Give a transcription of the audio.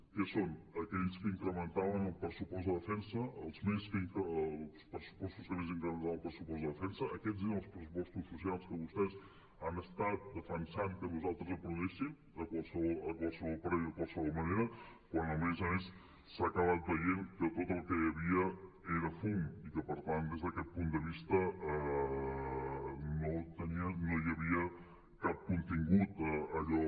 què són aquells que incrementaven el pressupost de defensa els pressupostos que més incrementaven el pressupost de defensa aquests eren els pressupostos socials que vostès han estat defensant que nosaltres aprovéssim a qualsevol preu i de qualsevol manera quan a més a més s’ha acabat veient que tot el que hi havia era fum i que per tant des d’aquest punt de vista no hi havia cap contingut allò